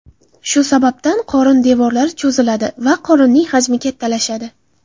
Shu sababdan qorin devorlari cho‘ziladi va qorinning hajmi kattalashadi.